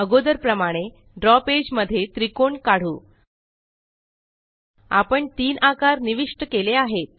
अगोदर प्रमाणे draw page मध्ये त्रिकोण काढू आपण तीन आकार निविष्ट केले आहेत